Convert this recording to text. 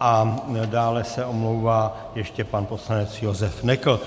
a dále se omlouvá ještě pan poslanec Josef Nekl.